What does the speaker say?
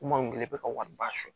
Kuma kelen bɛ ka wari ba son